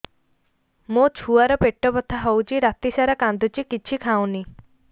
ମୋ ଛୁଆ ର ପେଟ ବଥା ହଉଚି ରାତିସାରା କାନ୍ଦୁଚି କିଛି ଖାଉନି